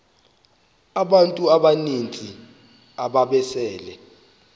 abantu abaninzi ababesele